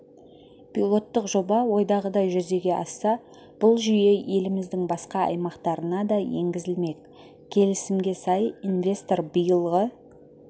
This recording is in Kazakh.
пилоттық жоба ойдағыдай жүзеге асса бұл жүйе еліміздің басқа аймақтарына да енгізілмек келісімге сай инвестор биылғы